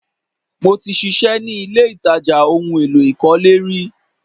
Mo ti ṣiṣẹ́ ni ilé-ìtàjà ohun èlò ìkọ́lé rí